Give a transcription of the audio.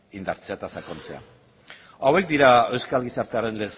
indartzea eta sakontzea hauek dira euskal gizartearen